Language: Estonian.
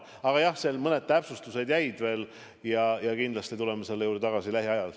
Aga jah, mõned täpsustused jäid veel ja kindlasti tuleme selle teema juurde tagasi lähiajal.